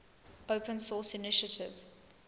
open source initiative